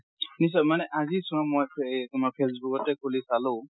নিশ্চয়। মানে আজি চোৱা মই এ তোমাৰ ফেচবুকতে খুলি চালো